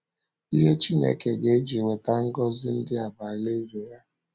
Ihe Chineke ga - eji weta ngọzi ndị a bụ Alaeze ya.